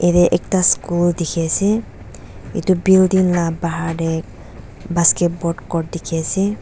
yatae ekta school dikhiase edu building la bahar tae basketball court dikhiase.